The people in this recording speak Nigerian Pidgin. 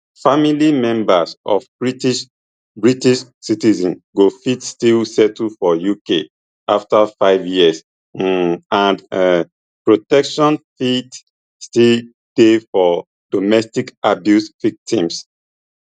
family members of british british citizens go fit still settle for uk afta five years um and um protections fit still dey for domestic abuse victims